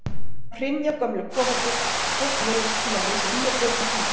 Þá hrynja gömlu kofarnir og fólk neyðist til að reisa ný og betri hús.